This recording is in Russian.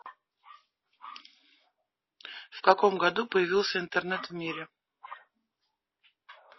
в каком году появился интернет в мире